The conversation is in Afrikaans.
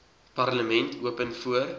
parlement open voor